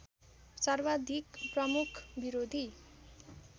सर्वाधिक प्रमुख विरोधी